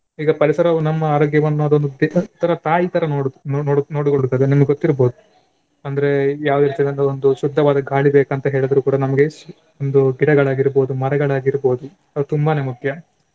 ಈಗ ಪರಿಸರವು ನಮ್ಮ ಆರೋಗ್ಯವನ್ನು ಅದೊಂದು ಪಿತ~ ತರ ತಾಯಿ ತರ ನೋಡು ನೋಡು ನೋಡಿ ಕೊಳ್ಳುತ್ತದೆ ನಿಮ್ಗೆ ಗೊತ್ತಿರ್ಬೋದು ಅಂದ್ರೆ ಯಾವ ಇರ್ತದೆ ಅಂದ್ರೆ ಒಂದು ಶುದ್ದವಾದ ಗಾಳಿ ಬೇಕಂತ ಹೇಳಿದ್ರೆ ಕೂಡ ನಮ್ಗೆ ಒಂದು ಗಿಡಗಳಾಗಿರ್ಬೋದು, ಮರಗಳಾಗಿರ್ಬೋದು ಅದು ತುಂಬಾನೇ ಮುಖ್ಯ.